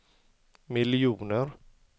miljoner